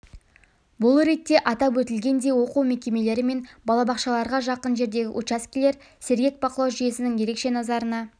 бұл ретте атап өтілгендей оқу мекемелері мен балабақшаларға жақын жердегі учаскелер сергек бақылау жүйесінің ерекше назарына